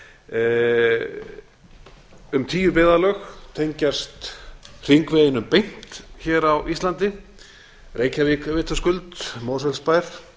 tómstundagamans um tíu byggðarlög tengjast hringveginum beint hér á íslandi reykjavík vitaskuld mosfellsbær